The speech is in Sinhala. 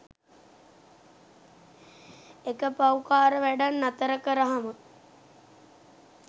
එක පව්කාර වැඞක් නතර කරහම